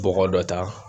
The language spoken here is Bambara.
Bɔgɔ dɔ ta